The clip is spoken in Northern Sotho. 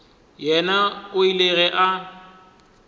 yena o ile ge a